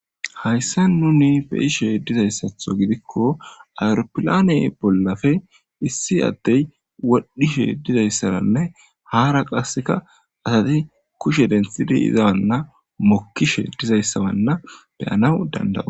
Hayissan nuni be'ishshe dizayiththo gidikko aropilanne bollappe issi adeyi wodhdhishshe dizayisarenne hara qasekka asati kushshe deniththidi izana mokishshe dizayissanna be'anawu danida'oss.